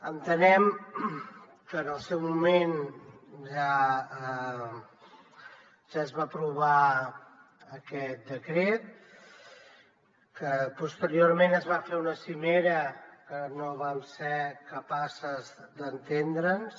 entenem que en el seu moment ja es va aprovar aquest decret que posteriorment es va fer una cimera en què no vam ser capaces d’entendre’ns